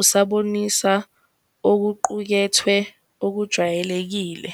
usabonisa okuqukethwe okujwayelekile.